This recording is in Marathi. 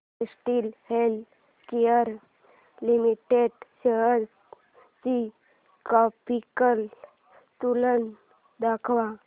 कॅडीला हेल्थकेयर लिमिटेड शेअर्स ची ग्राफिकल तुलना दाखव